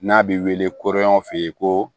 N'a bi wele kuran f'i ye ko